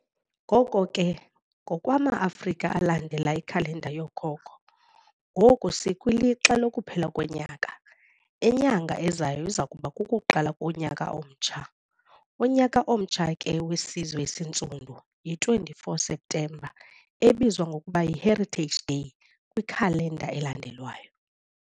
Ngoko ke, ngokwama-Afrika alandela ikhalenda yookhokho, ngoku sikwilixa lokuphela konyaka, inyanga ezayo izakuba kukuqala konyaka omtsha, unyaka omtsha ke wesizwe esintsundu, yi 24 September ebizwa ngokuba yi 'Heritage Day' kwikhalenda elandelwayo.